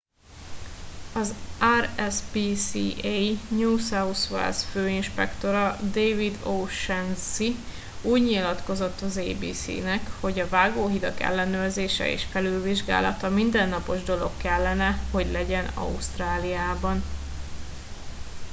az rspca new south wales főinspektora david o'shannessy úgy nyilatkozott az abc nek hogy a vágóhidak ellenőrzése és felülvizsgálata mindennapos dolog kellene hogy legyen ausztráliában